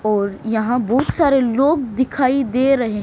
और यहा बुत सारे लोग दिखाई दे रहे--